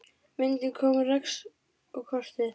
Myndin kom Rex á kortið.